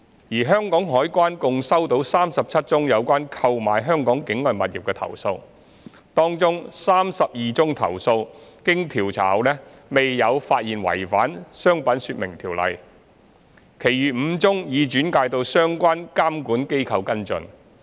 而香港海關共收到37宗有關購買香港境外物業的投訴，當中32宗投訴經調查後未有發現違反《商品說明條例》，其餘5宗已轉介到相關監管機構跟進。